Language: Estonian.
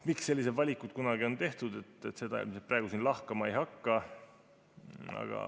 Miks selliseid valikuid kunagi tehti, seda ma praegu siin lahkama ei hakka.